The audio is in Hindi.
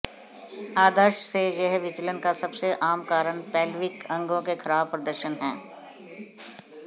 आदर्श से यह विचलन का सबसे आम कारण पैल्विक अंगों के खराब प्रदर्शन है